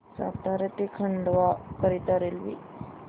सातारा ते खंडवा करीता रेल्वे